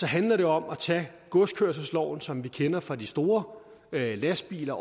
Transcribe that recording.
handler det om at tage godskørselsloven som vi kender fra de store lastbiler